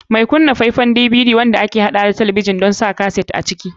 Mai kunna DVD faifai ne wanda ke haɗawa da talabijin don kunna kaset a cikinsa.